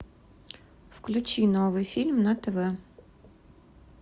включи новый фильм на тв